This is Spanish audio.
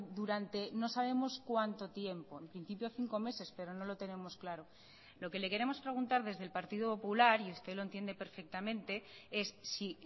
durante no sabemos cuánto tiempo en principio cinco meses pero no lo tenemos claro lo que le queremos preguntar desde el partido popular y usted lo entiende perfectamente es si